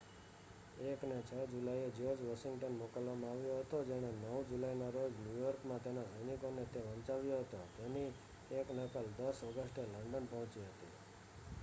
1 ને 6 જુલાઈએ George Washington મોકલવામાં આવ્યો હતો જેણે 9 જુલાઈના રોજ ન્યૂયોર્કમાં તેના સૈનિકોને તે વંચાવ્યો હતો તેની એક નકલ 10 ઓગસ્ટે લંડન પહોંચી હતી